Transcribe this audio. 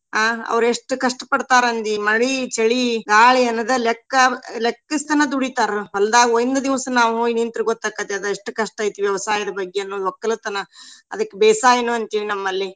ಅಹ್ ಅವ್ರ್ ಎಷ್ಟ್ ಕಷ್ಟ್ ಪಡ್ತಾರ ಅಂದಿ ಮಳಿ, ಚಳಿ, ಗಾಳಿ ಅನದ ಲೆಕ್ಕಾ ಲೆಕ್ಕಸ್ದನ ದುಡಿತಾರ. ಹೊಲ್ದಾಗ ಒಂದ್ ದಿವ್ಸ ನಾವ್ ಹೋಗಿ ನಿಂತ್ರ ಗೊತ್ತ ಆಕ್ಕೇತಿ ಅದ್ ಎಷ್ಟ್ ಕಷ್ಟ ಐತಿ ವ್ಯವಸಾಯದ ಬಗ್ಗೆ ಅನ್ನೋದ್ ವಕ್ಕಲುತನ. ಅದಕ್ ಬೇಸಾಯನು ಅಂತೀವಿ ನಮ್ಮಲ್ಲಿ.